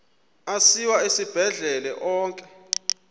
asiwa esibhedlele onke